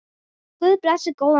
Guð blessi góðan bróður!